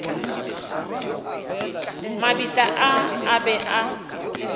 mabitla a a be a